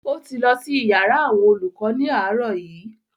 O ti lọ sí iyàrá àwọn olùkọ ni aarọ yi.